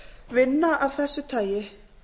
vinna af þessu tagi